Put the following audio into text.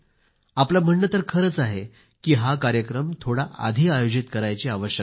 आपलं म्हणणं तर खरंच आहे की हा कार्यक्रम थोडा आधी आयोजित करायची आवश्यकता आहे